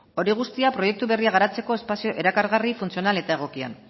hori guztia proiektu berria garatzeko espazio erakargarri funtzional eta egokian